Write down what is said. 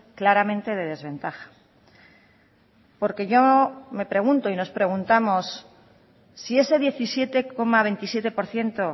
claramente de desventaja porque yo me pregunto y nos preguntamos si ese diecisiete coma veintisiete por ciento